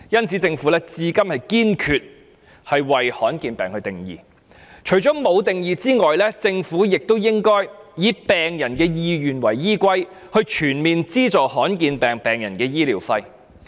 政府至今沒有為罕見疾病下定義，它應該以病人的意願為依歸，全面資助罕見疾病患者的醫療費。